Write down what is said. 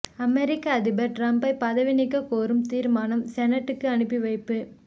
அமெரிக்க அதிபர் ட்ரம்பை பதவி நீக்க கோரும் தீர்மானம் செனட்டுக்கு அனுப்பிவைப்பு